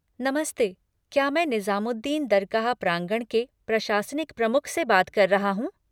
नमस्ते, क्या मैं निज़ामुद्दीन दरगाह प्रांगण के प्रशासनिक प्रमुख से बात कर रहा हूँ?